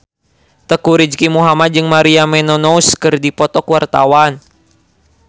Teuku Rizky Muhammad jeung Maria Menounos keur dipoto ku wartawan